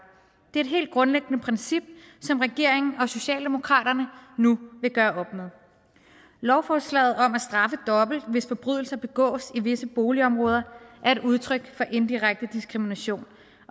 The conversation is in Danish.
det er et helt grundlæggende princip som regeringen og socialdemokratiet nu vil gøre op med lovforslaget om at straffe dobbelt hvis forbrydelser begås i visse boligområder er et udtryk for indirekte diskrimination